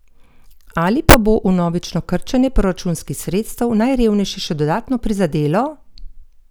Ali pa bo vnovično krčenje proračunskih sredstev najrevnejše še dodatno prizadelo?